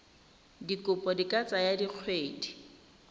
dikopo di ka tsaya dikgwedi